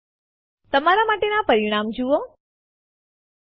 આપણે આ રદ કરવા ઈચ્છીએ છીએ